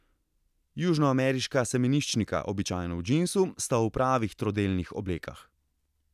Južnoameriška semeniščnika, običajno v džinsu, sta v pravih trodelnih oblekah.